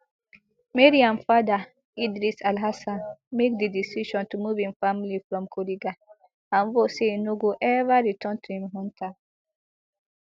mariam father idris alhassan make di decision to move im family from kuriga and vow say e no go ever return to im hometown